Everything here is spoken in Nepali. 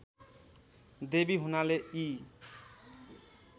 देवी हुनाले यी